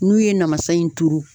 N'u ye namasa in turu.